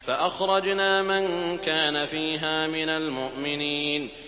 فَأَخْرَجْنَا مَن كَانَ فِيهَا مِنَ الْمُؤْمِنِينَ